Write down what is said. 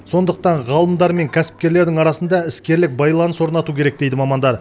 сондықтан ғалымдар мен кәсіпкерлердің арасында іскерлік байланыс орнату керек дейді мамандар